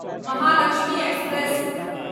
Mahalakshmi express